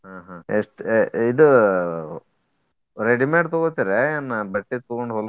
ಆಹ್ ಆಹ್ ಎಷ್ಟ ಏ ಇದು ready made ತೊಗೋತೆರ್ಯಾ ಏನ ಬಟ್ಟಿ ತೊಗೊಂಡ್